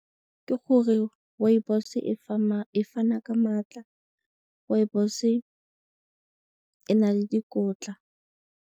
Ke gore rooibos-e e fana ka maatla, rooibos e na le dikotla.